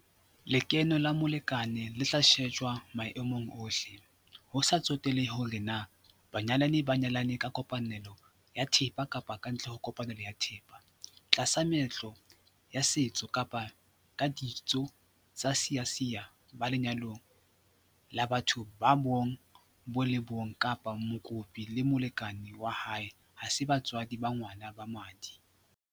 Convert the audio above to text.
Lekeno la molekane le tla shejwa maemong ohle - ho sa tsotelehe hore na banyalani ba nyalane ka kopanelo ya thepa kapa kantle ho kopanelo ya thepa, tlasa meetlo ya setso kapa ka ditso tsa Seasia, ba lenyalong la batho ba bong bo le bong kapa mokopi le molekane wa hae ha se batswadi ba ngwana ba madi.